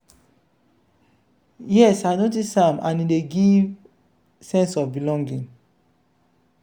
yes i notice am and e dey give sense of belonging.